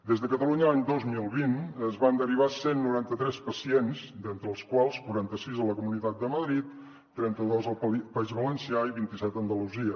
des de catalunya l’any dos mil vint es van derivar cent i noranta tres pacients entre els quals quaranta sis a la comunitat de madrid trenta dos al país valencià i vint set a andalusia